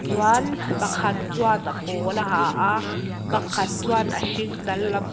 chuan pakhat chuan a pawl a ha a pakhat chuan a hring dal lam.